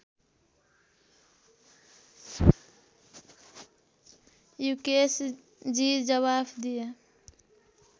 युकेशजी जवाफ दिए